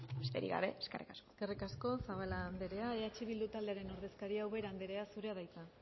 besterik gabe eskerrik asko eskerrik asko zabala andrea eh bildu taldearen ordezkaria ubera andrea zurea da hitza